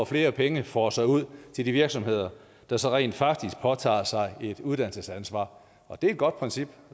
flere penge fosser ud til de virksomheder der så rent faktisk påtager sig et uddannelsesansvar det er et godt princip